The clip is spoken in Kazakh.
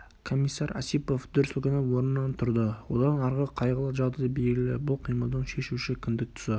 комиссар осипов дүр сілкініп орнынан тұрды одан арғы қайғылы жағдай белгілі бұл қимылдың шешуші кіндік тұсы